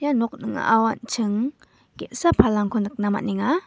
ia nok ning·ao an·ching ge·sa palangko nikna man·enga.